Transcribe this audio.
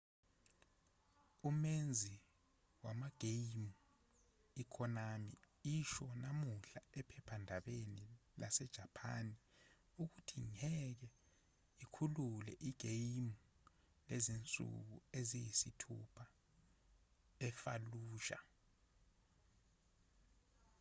umenzi wamageyimu ikonami isho namuhla ephephandabeni lasejapani ukuthi ngeke ikhulule igeyimu lezinsuku eziyisithupha efallujah